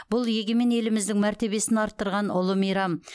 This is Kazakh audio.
бұл егемен еліміздің мәртебесін арттырған ұлы мейрам